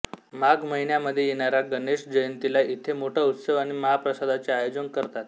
माघ महिन्यामध्ये येणाऱ्या गणेश जयंतीला इथे मोठा उत्सव आणि महाप्रसादाचे आयोजन करतात